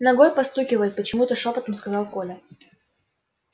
ногой постукивает почему то шёпотом сказал коля